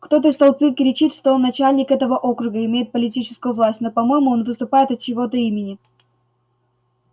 кто-то из толпы кричит что он начальник этого округа и имеет политическую власть но по-моему он выступает от чьего-то имени